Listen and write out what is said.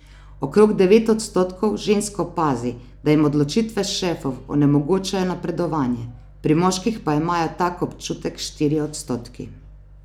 Okrog devet odstotkov žensk opazi, da jim odločitve šefov onemogočajo napredovanje, pri moških pa imajo tak občutek štirje odstotki.